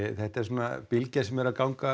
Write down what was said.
þetta er bylgja sem er að ganga